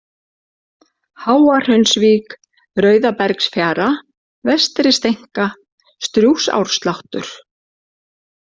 Háahraunsvík, Rauðabergsfjara, Vestri-Steinka, Strjúgsársláttur